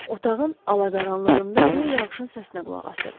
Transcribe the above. Otağın alaqaranlığında rö yağışın səsinə qulaq asırdı.